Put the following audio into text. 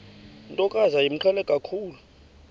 ntokazi yayimqhele kakhulu